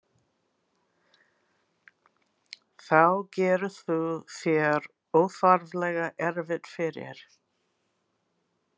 Þá gerir þú þér óþarflega erfitt fyrir.